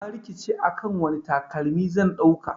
Na rikice akan wani takalmi zan dauka.